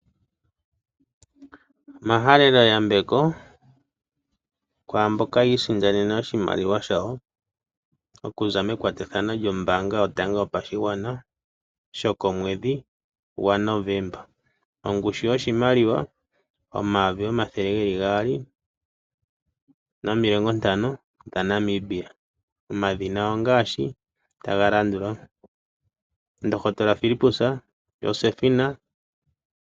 Omahaleloyambeko kwaa mboka yi isindanene oshimaliwa shawo okuza mekwatathano lyombaanga yotango yopashigwana shokomwedhi gwaNovemba. Ongushu yoshimaliwa omayovi omathele gaali nomilongo ntano dhaNamibia. Omadhina ongaashi taga landula: Dr Filipus, Jesephina nosho tuu.